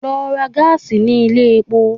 Lọ ra gáàsì ní ilé epo!